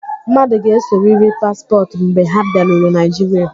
Mmadụ ga-egosiriri paspọtụ mgbe ha bịaruru Naịjiria.